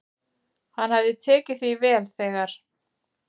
"""Hann hafði tekið því vel, þegar"""